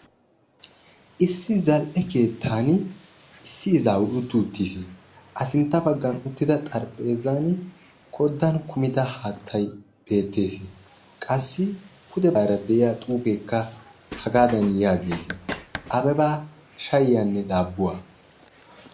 Issi zal'e keettan issi izaawu uttiuttis a sintta bagga uttidda xarphphezan bollani koddan kumidda haattay beettes, qassi pudde baggara de'yaa xuufekka yaagessi Abeba shayiyanne daabuwaa.